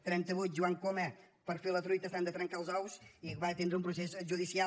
trenta vuit joan coma per fer la truita s’han de trencar els ous i va tindre un procés judicial